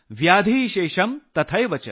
शेषम् तथैवच ।